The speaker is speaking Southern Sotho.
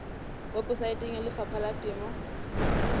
weposaeteng ya lefapha la temo